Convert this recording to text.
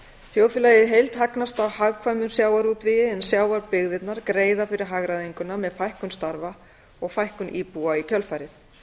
þjóðfélagið í heild hagnast á hagkvæmum sjávarútvegi en sjávarbyggðirnar greiða fyrir hagræðinguna með fækkun starfa og fækkun íbúa í kjölfarið